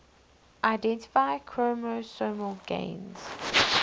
identify chromosomal gains